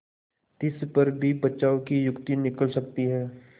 तिस पर भी बचाव की युक्ति निकल सकती है